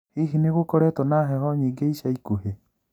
Hihi nĩgũkoretwo na heho nyingĩ ica ikuhĩ?.